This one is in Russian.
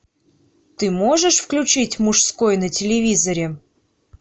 ты можешь включить мужской на телевизоре